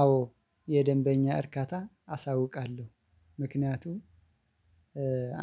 አዎ የደንበኛ እርካታ አሳውቃለሁ። ምክንያቱም